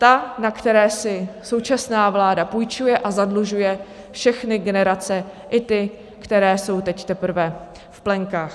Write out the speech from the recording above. Ta, na které si současná vláda půjčuje, a zadlužuje všechny generace, i ty, které jsou teď teprve v plenkách.